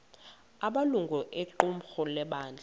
amalungu equmrhu lebandla